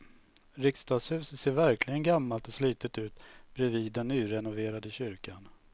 Riksdagshuset ser verkligen gammalt och slitet ut bredvid den nyrenoverade kyrkan.